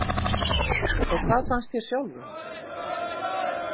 Og hvað fannst þér sjálfum?